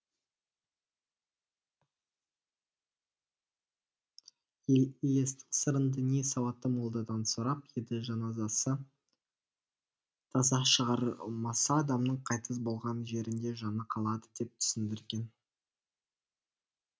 елестің сырын діни сауатты молдадан сұрап еді жаназасы таза шығарылмаса адамның қайтыс болған жерінде жаны қалады деп түсіндірген